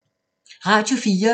Radio 4